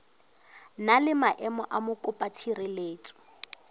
na le maemo a mokopatshireletso